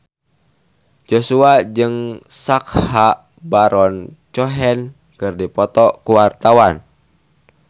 Joshua jeung Sacha Baron Cohen keur dipoto ku wartawan